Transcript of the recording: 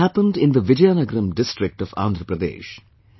This happened in the Vizianagaram District of Andhra Pradesh